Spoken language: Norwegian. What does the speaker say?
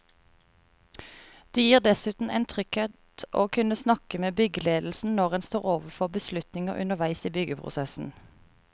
Det gir dessuten en trygghet å kunne snakke med byggeledelsen når en står overfor beslutninger underveis i byggeprosessen.